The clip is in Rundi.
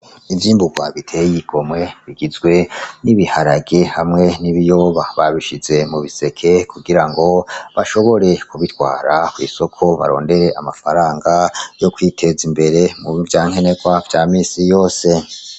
Ivyimburwa bitey'igomwe bigizwe n'ibiharage hamwe n'ibiyoba . Babishize mu biseke kugira ngo , bashobore kubitwara kw'isoko barondere amafaranga yo kwitez'imbere muri vyankenerwa vya misi yose .